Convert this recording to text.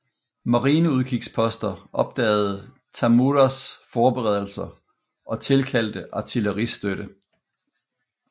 Marineudkigsposter opdagede Tamuras forberedelser og tilkaldte artilleristøtte